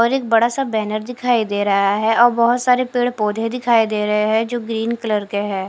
और एक बड़ा सा बैनर दिखाई दे रहा है और बहोत सारे पेड़-पौधे दिखाई दे रहे हैं जो ग्रीन कलर के है।